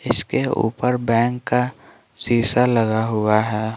इसके ऊपर बैंक का शीशा लगा हुआ है।